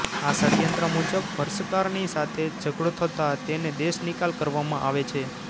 આ ષડ્યંત્ર મુજબ વર્ષકારની સાથે ઝઘડો થતાં તેને દેશનિકાલ કરવામાં આવે છે